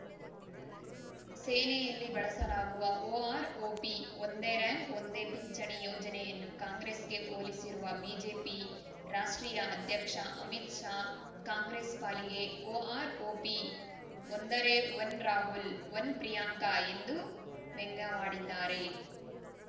ಸೇನೆಯಲ್ಲಿ ಬಳಸಲಾಗುವ ಒಆರ್‌ಒಪಿ ಒಂದೇ ರ‍್ಯಾಂಕ್‌ ಒಂದೇ ಪಿಂಚಣಿ ಯೋಜನೆಯನ್ನು ಕಾಂಗ್ರೆಸ್‌ಗೆ ಹೋಲಿಸಿರುವ ಬಿಜೆಪಿ ರಾಷ್ಟ್ರೀಯ ಅಧ್ಯಕ್ಷ ಅಮಿತ್‌ ಶಾ ಕಾಂಗ್ರೆಸ್‌ ಪಾಲಿಗೆ ಒಆರ್‌ಒಪಿ ಒಂದರೆ ಒನ್‌ ರಾಹುಲ್‌ ಒನ್‌ ಪ್ರಿಯಾಂಕಾ ಎಂದು ವ್ಯಂಗ್ಯವಾಡಿದ್ದಾರೆ